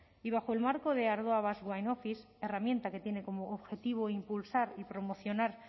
y bajo el marco de ardoa basque wine office herramienta que tiene como objetivo impulsar y promocionar